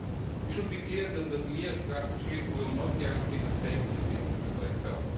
We should be clear that the mere strategy will not guarantee the safety of the internet by itself.